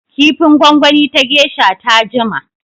Kifin gwangwani ta geisha ta jima.